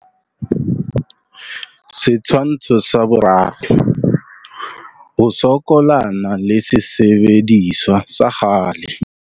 Setshwantsho sa 3. Ho sokolana le sesebediswa sa kgale.